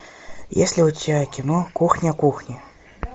есть ли у тебя кино кухня кухня